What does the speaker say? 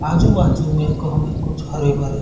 आजु-बाजु में हमें एक हमें कुछ हरे-भरे--